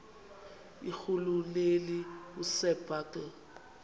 irhuluneli usir bartle